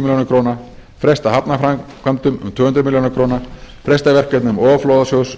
milljónir króna fresta hafnarframkvæmdum um tvö hundruð milljóna króna fresta verkefnum ofanflóðasjóðs